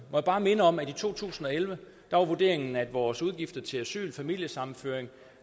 jeg bare minde om at i to tusind og elleve var vurderingen at vores udgifter til asyl familiesammenføring